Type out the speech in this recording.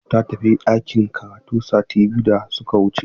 Zainab ta tafi ɗakin karatu sati biyu da suka wuce.